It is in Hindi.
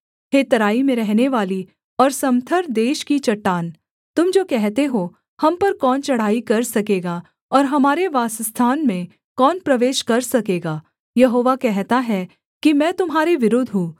हे तराई में रहनेवाली और समथर देश की चट्टान तुम जो कहते हो हम पर कौन चढ़ाई कर सकेगा और हमारे वासस्थान में कौन प्रवेश कर सकेगा यहोवा कहता है कि मैं तुम्हारे विरुद्ध हूँ